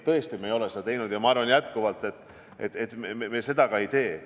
Tõesti, me ei ole seda teinud, ja ma arvan jätkuvalt, et me seda ka ei tee.